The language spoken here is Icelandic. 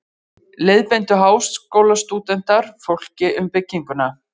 Leiðbeindu Háskólastúdentar fólki um bygginguna.